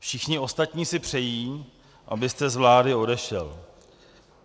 Všichni ostatní si přejí, abyste z vlády odešel.